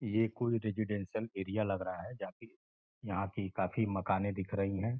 ये कोई residential area लग रहा है। जहाँ पे यहाँ पे काफी मकाने दिख रही हैं।